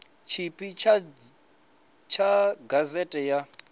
tshipi ḓa tsha gazete ya